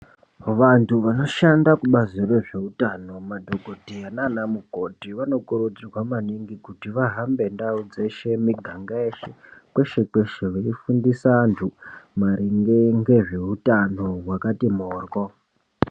Vantu vanoshanda kubazi rezveutano, madhogodheya naana mukoti vanokurudzirwa maningi kuti vahambe ndau dzeshe, miganga yeshe, kweshe-kweshe veifundisa antu maringe ngezveutano hwakati mhoryo.